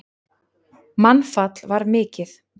Mannfall var mikið.